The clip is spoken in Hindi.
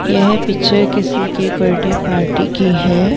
यह पिक्चर किसी के बर्थडे पार्टी की है।